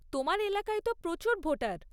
তোমার এলাকায় তো প্রচুর ভোটার।